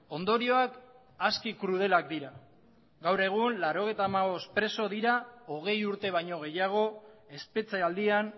ondorioak aski krudelak dira gaur egun laurogeita hamabost preso dira hogei urte baino gehiago espetxealdian